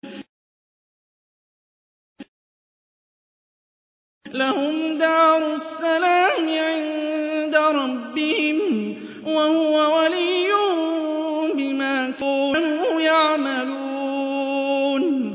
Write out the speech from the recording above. ۞ لَهُمْ دَارُ السَّلَامِ عِندَ رَبِّهِمْ ۖ وَهُوَ وَلِيُّهُم بِمَا كَانُوا يَعْمَلُونَ